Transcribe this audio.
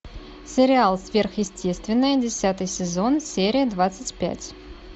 сериал сверхъестественное десятый сезон серия двадцать пять